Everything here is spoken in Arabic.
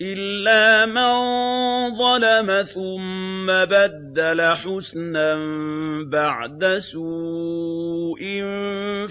إِلَّا مَن ظَلَمَ ثُمَّ بَدَّلَ حُسْنًا بَعْدَ سُوءٍ